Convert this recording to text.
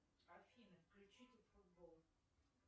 афина включите футбол